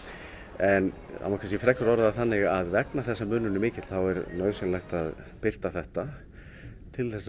en það má kannski frekar orða það þannig að vegna þess að munurinn er mikill þá er nauðsynlegt að birta þetta til þess að